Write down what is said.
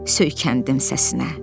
Söykəndim səsinə.